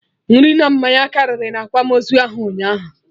Nri na mmanya karị na akwamozu ahụ ụnyaahụ